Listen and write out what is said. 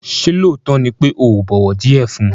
Ṣé lóòótọ́ ni pé ò bọ̀wọ̀ díẹ̀ fun?